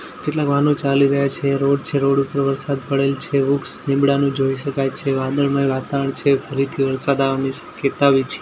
કેટલાક વાહનો ચાલી રહ્યા છે રોડ છે રોડ ઉપર વરસાદ પડેલ છે વૃક્ષ લીમડાનું જોઈ શકાય છે વાદળમય વાતાવરણ છે ફરીથી વરસાદ આવવાની શક્યતા--